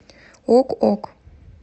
ок ок